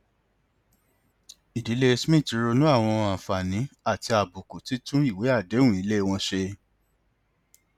ìdílé smith ronú lórí àwọn àǹfààní àti àbùkù títún ìwé àdéhùn ilé wọn ṣe